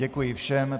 Děkuji všem.